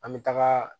An bɛ taga